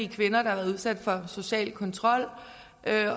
kvinder der har været udsat for social kontrol